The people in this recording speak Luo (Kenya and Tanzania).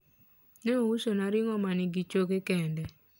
ne ousona ringo manigi choke kende